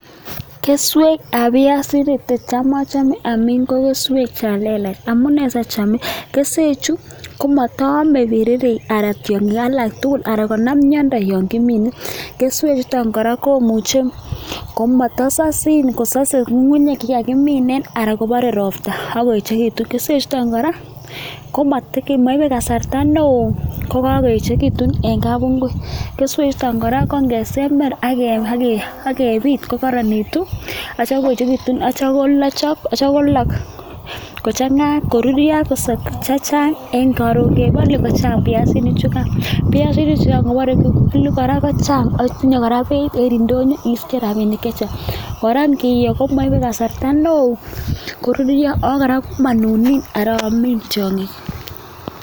Keswek ab biasinik che tam ochome amin ko keswek chan lelach, amune asiachame, keswechu komataome anan tiong'ik alak tugul anan konam miondo yon kimine. Keswechuto kora komuche komotsosin kosose ng'ung'unyek che kagimichi anan kobore ropta ak koechegitu. Keswechuto kora komaibe kasarta neo kokagoechegitu en kapungui. Keswechuto kora ko ngesember ak kebit kokaronitu ak kebit ak kityo kolok kochang'a koruryo chechang, koron kebolu kochang biasinichugan. Biasinichugan kobore kibolu kora kochang ago tinye kora beit en ndonyo isiche rabinik chechang. Ngiyo komoibe kasarta neo koruryo ago monunin ama amin tiong'ik.